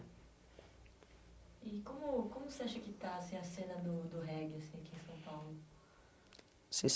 E como como você acha que está assim a cena do do reggae assim aqui em São Paulo?